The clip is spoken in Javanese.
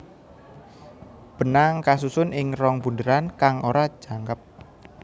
Benang kasusun ing rong bunderan kang ora jangkep